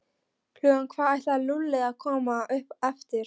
Klukkan hvað ætlaði Lúlli að koma upp eftir?